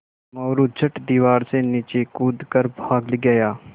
मोरू झट दीवार से नीचे कूद कर भाग गया